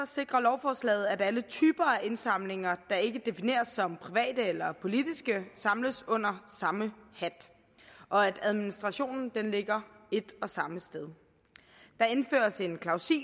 sikrer lovforslaget at alle typer indsamlinger der ikke defineres som private eller politiske samles under samme hat og at administrationen ligger et og samme sted der indføres en klausul